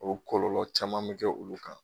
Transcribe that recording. O kɔlɔlɔ caman bɛ kɛ olu kan.